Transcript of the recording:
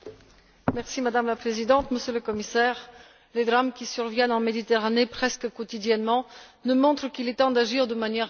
Madame la Présidente, Monsieur le Commissaire, les drames qui surviennent en Méditerranée presque quotidiennement nous montrent qu'il est temps d'agir de manière résolue.